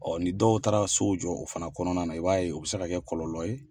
ni dɔw taara sow jɔ o fana kɔnɔna na i b'a ye u bɛ se ka kɛ kɔlɔlɔ ye.